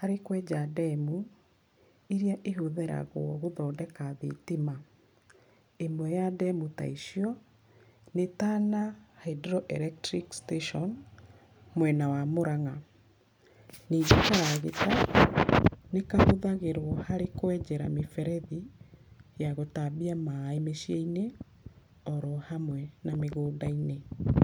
harĩ kwenja ndemu, ĩrĩa ĩhũthĩragũo, gũthondeka thitima. Imwe ya ndemu ta icio, nĩ Tana Hydro electric Station, mwena wa Mũrang'a. Ningĩ karagita, nĩkahũthagirwo harĩ kwenjera mĩberethi, ya gũtambia maĩ mĩciĩ-inĩ, orohamwe na mĩgũnda-inĩ. [